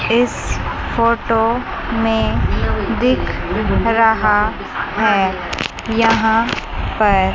इस फोटो में दिख रहा है यहाँ पर--